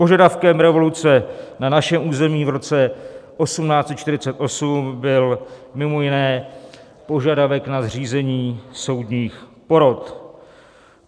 Požadavkem revoluce na našem území v roce 1848 byl mimo jiné požadavek na zřízení soudních porot.